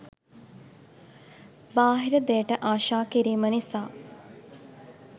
බාහිර දෙයට ආශා කිරීම නිසා